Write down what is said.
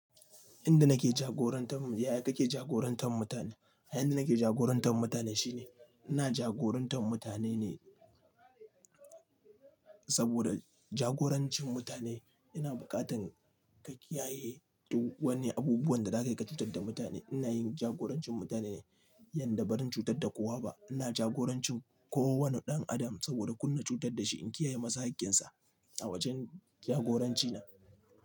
Inda nake jagorantam, ya ya kake jagorantan mutane? A inda nake jagorantar mutane shine ina jagorantar mutane ne saboda jagorancin mutane yana buƙatan ka kiyaye duk wani abubuwan da da ka yi ka cutar da mutane. Ina yin jagorancin mutane ne yanda ba rin cutar da kowa ba. Ina jagorancin kowane ɗan adam saboda kunna cutar da shi in kiyaye masa haƙƙinsa a wajen jagoranci na.